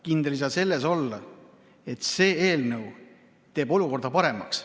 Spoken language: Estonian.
Kindel ei saa olla selles, et see eelnõu teeb olukorra paremaks.